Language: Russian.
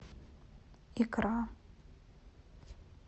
икра